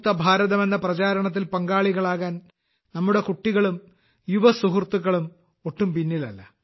മുക്ത ഭാരതം എന്ന പ്രചരണത്തിൽ പങ്കാളികളാകാൻ നമ്മുടെ കുട്ടികളും യുവസുഹൃത്തുക്കളും ഒട്ടും പിന്നിലല്ല